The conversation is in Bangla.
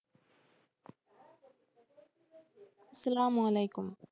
সালাম ওয়ালাইকুম,